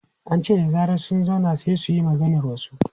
An ce da zarar sun zauna, sai su yi maganar wasu.